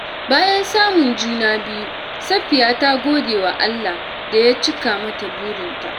Bayan samun juna biyu, Safiyya ta gode wa Allah da ya cika mata burinta.